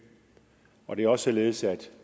og det er også således at